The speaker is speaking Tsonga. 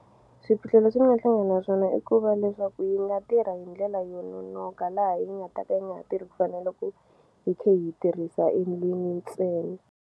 Swiphiqo leswi ni nga hlangana na swona i ku va leswaku yi nga tirha hi ndlela yo nonoka laha yi nga ta ka yi nga ha tirhi ku fana na loko hi khe hi tirhisa ntsena.